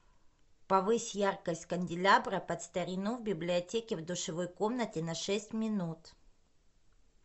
повысь яркость канделябра под старину в библиотеке в душевой комнате на шесть минут